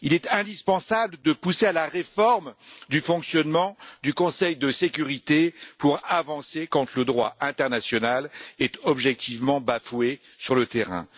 Il est indispensable de pousser à la réforme du fonctionnement du Conseil de sécurité pour avancer quand le droit international est objectivement bafoué sur le terrain.